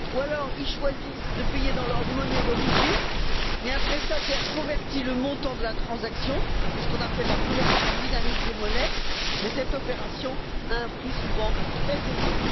Ou bien ils choisissent de payer dans leur monnaie, mais un prestataire convertit le montant de la transaction, c'est ce qu'on appelle la conversion dynamique des monnaies, et cette opération a un coût souvent très élevé.